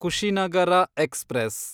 Kushinagar express